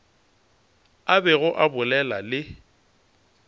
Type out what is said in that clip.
a bego a bolela le